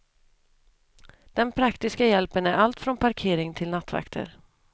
Den praktiska hjälpen är allt från parkering till nattvakter.